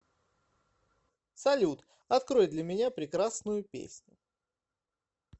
салют открой для меня прекрасную песню